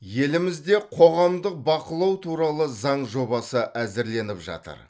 елімізде қоғамдық бақылау туралы заң жобасы әзірленіп жатыр